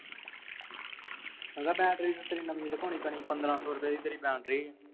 ਉਹਨੂੰ ਕਹਿ battery ਤਾਂ ਤੇਰੀ ਨਵੀਂ ਰਖਾਉਣੀ ਪੈਣੀ ਪੰਦਰਾਂ ਸੌ ਦੀ ਤੇਰੀ battery ਆ